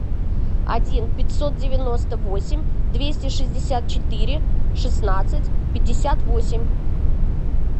один пятьсот девяносто восемь двести шестьдесят четыре шестнадцать пятьдесят восемь